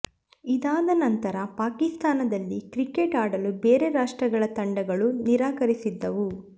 ಇದಾದ ನಂತರ ಪಾಕಿಸ್ತಾನದಲ್ಲಿ ಕ್ರಿಕೆಟ್ ಆಡಲು ಬೇರೆ ರಾಷ್ಟ್ರಗಳ ತಂಡಗಳು ನಿರಾಕರಿಸಿದ್ದವು